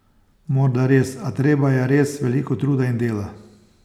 Morda res, a treba je res veliko truda in dela.